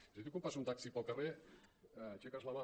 és a dir aquí quan passa un taxi pel carrer aixeques la mà